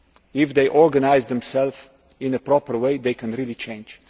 change. If they organise themselves in a proper way, they can really